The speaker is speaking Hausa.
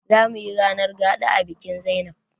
Zamuyi ranar gaɗa a bikin zainab